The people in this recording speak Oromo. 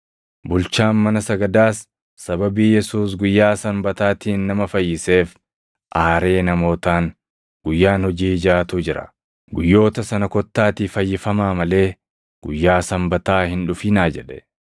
Bulchaan mana sagadaas sababii Yesuus guyyaa Sanbataatiin nama fayyiseef aaree namootaan, “Guyyaan hojii jaʼatu jira; guyyoota sana kottaatii fayyifamaa malee guyyaa Sanbataa hin dhufinaa” jedhe.